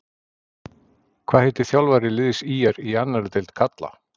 Hvað heitir þjálfari liðs ÍR í annarri deild karla?